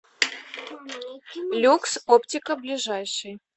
люкс оптика ближайший